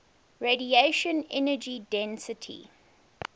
radiation energy density